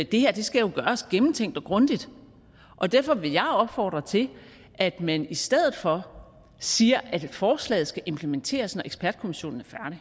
det her skal jo gøres gennemtænkt og grundigt og derfor vil jeg opfordre til at man i stedet for siger at forslaget skal implementeres når ekspertkommissionen